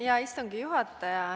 Hea istungi juhataja!